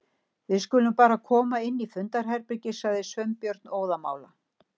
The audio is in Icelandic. Við skulum bara koma inn í fundarherbergi- sagði Sveinbjörn óðamála.